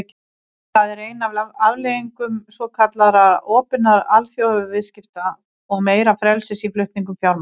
Það er ein af afleiðingum svokallaðra opnari alþjóðaviðskipta og meira frelsis í flutningum fjármagns.